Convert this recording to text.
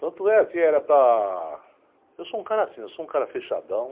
Tanto é que era para... Eu sou um cara assim, eu sou um cara fechadão.